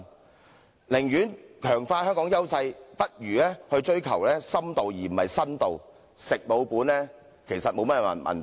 與其這樣，不如強化香港現有優勢，追求深度，而不是新度，"食老本"其實並無不妥。